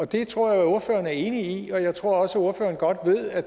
det tror jeg ordføreren er enig i og jeg tror også ordføreren godt ved at